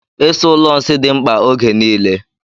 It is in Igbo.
Ịsa ụlọ nsị dị mkpa ógè niile.